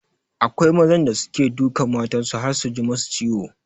Akwai mazan da suke dukan matan su har su ji masu ciwo